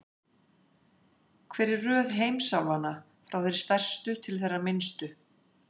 Hver er röð heimsálfanna, frá þeirri stærstu til þeirrar minnstu?